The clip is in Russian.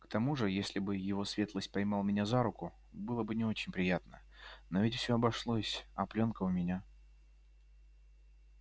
к тому же если бы его светлость поймал меня за руку было бы не очень приятно но ведь всё обошлось а плёнка у меня